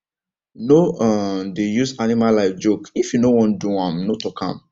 no um dey use animal life jokeif you no wan do am no talk am